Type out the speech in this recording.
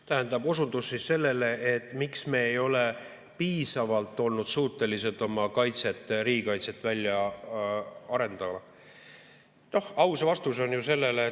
Tähendab, osutus sellele, miks me ei ole piisavalt olnud suutelised oma riigi kaitset välja arendama.